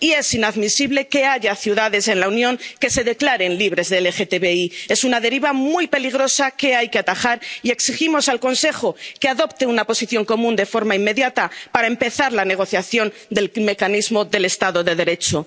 Y es inadmisible que haya ciudades en la Unión que se declaren libres de LGTBI. Es una deriva muy peligrosa que hay que atajar y exigimos al Consejo que adopte una posición común de forma inmediata para empezar la negociación del mecanismo del Estado de Derecho.